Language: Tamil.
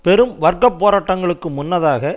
பெரும் வர்க்க போராட்டங்களுக்கு முன்னதாக